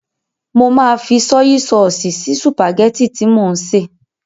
Mo máa fi sọ́yí sọọ̀sì sí sùpàgẹ́tì tí mò ń sè.